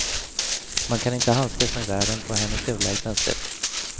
Man kan inte handskas med världen på hennes överlägsna sätt.